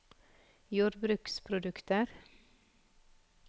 jordbruksprodukter